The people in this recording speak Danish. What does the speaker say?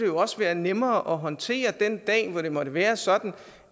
jo også være nemmere at håndtere den dag hvor det måtte være sådan